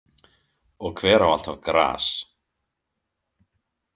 Og hver á alltaf gras?